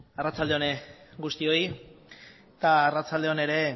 arratsalde on guztioi eta arratsalde on ere